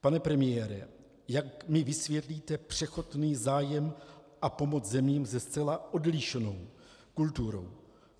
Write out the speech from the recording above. Pane premiére, jak mi vysvětlíte překotný zájem a pomoc zemím se zcela odlišnou kulturou?